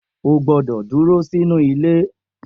O gbọ́dọ̀ dúró sínú ilé